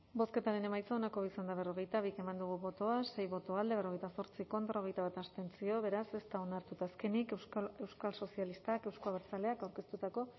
bozketaren emaitza onako izan da berrogeita bi eman dugu bozka sei boto alde berrogeita zortzi contra hogeita bat abstentzio beraz ez da onartu eta azkenik euskal sozialistak euzko abertzaleak aurkeztutako